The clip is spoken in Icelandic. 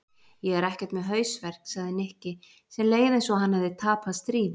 Ég er ekkert með hausverk sagði Nikki sem leið eins og hann hefði tapað stríði.